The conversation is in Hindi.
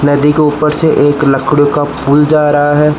नदी के ऊपर से एक लकड़ी का पुल जा रहा है।